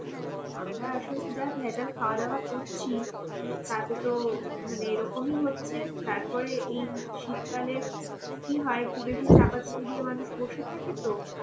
আমরা আসলে যা ভেজাল খাওয়া দাওয়া করছি তাতে তো মানে এরকমই হচ্ছে, তারপরে এই শীতকালে কি হয় একটু বেশি চাপাচুপি দিয়ে মানুষ বসে থাকে তো